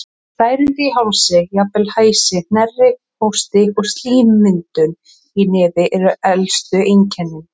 Særindi í hálsi, jafnvel hæsi, hnerri, hósti og slímmyndun í nefi eru elstu einkennin.